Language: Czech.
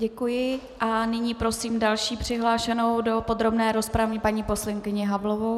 Děkuji a nyní prosím další přihlášenou do podrobné rozpravy, paní poslankyni Havlovou.